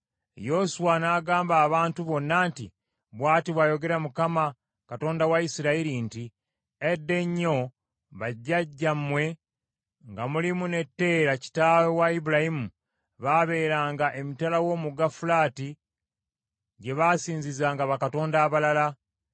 Yoswa n’agamba abantu bonna nti, “Bw’ati bw’ayogera Mukama Katonda wa Isirayiri nti, ‘Edda ennyo bajjajjammwe nga mulimu ne Teera kitaawe wa Ibulayimu baabeeranga emitala w’omugga Fulaati, gye basinzizanga bakatonda abalala.